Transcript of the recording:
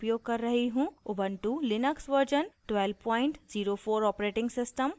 * ubuntu Linux version 1204 operating system और